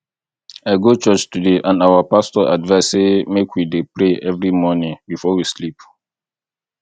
i go church today and our pastor advice say make we dey pray every morning before we sleep